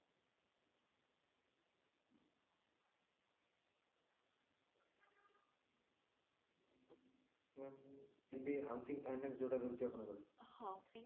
ma'am ମାନେ ଏଇ housing finance ଯୋଉଟା ରହୁଛି ଆପଣଙ୍କର ହଁ